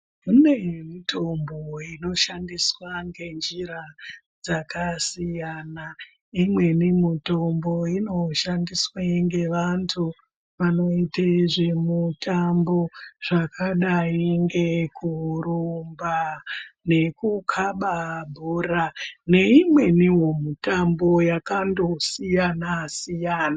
Kune mitombo inoshandiswa ngenjira dzakasiyana. Imweni mitombo inoshandiswe ngevantu vanoite zvemutambo zvakadai ngekurumba nekukaba bhora, neimwenivo mitambo yakandosiyana-siyana.